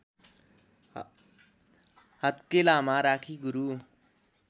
हत्केलामा राखी गुरु